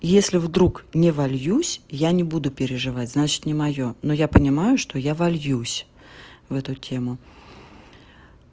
если вдруг не вольюсь я не буду переживать значит не моё но я понимаю что я вольюсь в эту тему